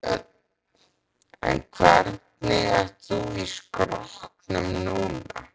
Björn: En hvernig ert þú í skrokknum núna?